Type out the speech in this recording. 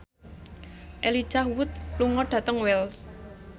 Elijah Wood lunga dhateng Wells